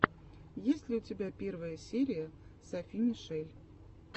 есть ли у тебя первая серия софи мишель